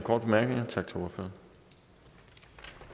og så kunne